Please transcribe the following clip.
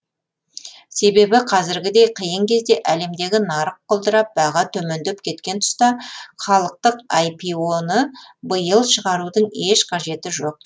себебі қазіргідей қиын кезде әлемдегі нарық құлдырап баға төмендеп кеткен тұста халықтық аипио ны биыл шығарудың еш қажеті жоқ